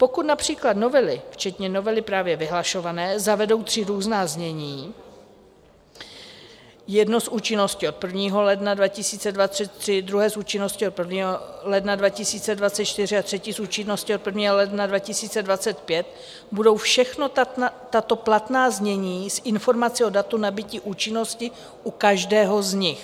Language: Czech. Pokud například novely včetně novely právě vyhlašované zavedou tři různá znění, jedno s účinností od 1. ledna 2023, druhé s účinností od 1. ledna 2024 a třetí s účinností od 1. ledna 2025, budou všechna tato platná znění s informací o datu nabytí účinnosti u každého z nich.